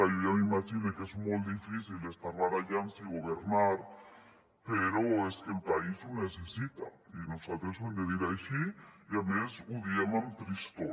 jo ja m’imagine que és molt difícil estar barallant se i governar però és que el país ho necessita i nosaltres ho hem de dir així i a més ho diem amb tristor